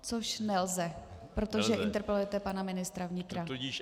Což nelze, protože interpelujete pana ministra vnitra.